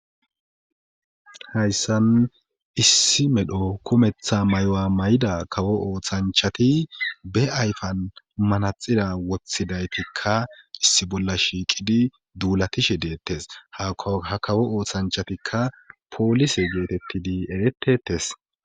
Hayssan issi medho kumetha mayo mayida kawo ooshanchati ba ayifan manaxira woththidaytikka issi bolla shiiqidi duulatishe deettes. Ha kawo oosanchatikka poolise geetettidi eretetes.